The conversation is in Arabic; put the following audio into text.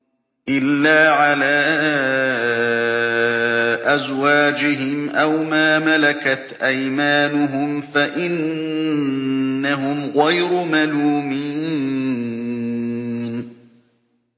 إِلَّا عَلَىٰ أَزْوَاجِهِمْ أَوْ مَا مَلَكَتْ أَيْمَانُهُمْ فَإِنَّهُمْ غَيْرُ مَلُومِينَ